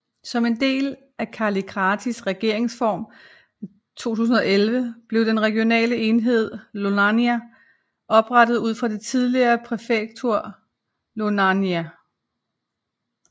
Som en del af Kallikratis regeringsreform i 2011 blev den regionale enhed Ioannina oprettet ud fra det tidligere præfektur Ioannina